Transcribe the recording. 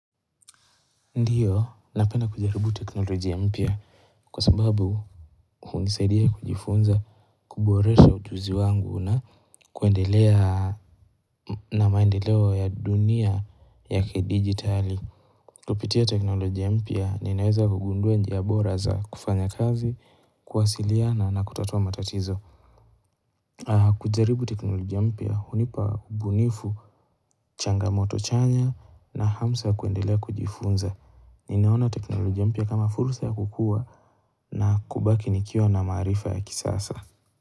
Ndiyo, napenda kujaribu teknolojia mpya kwa sababu hunisaidia kujifunza kuboresha ujuzi wangu na kuendelea na maendeleo ya dunia ya kidigitali. Kupitia teknolojia mpya, ninaweza kugundua njia bora za kufanya kazi, kuwasiliana na kutatua matatizo. Kujaribu teknolojia mpya hunipa ubunifu, changamoto chanya, na hamsa kuendelea kujifunza. Ninaona teknolojia mpya kama fursa ya kukua na kubaki nikiwa na maarifa ya kisasa.